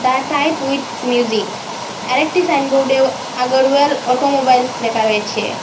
A type with music আর একটি সাইনবোর্ডেও আগরওয়াল অটোমোবাইলস লেখা রয়েছে।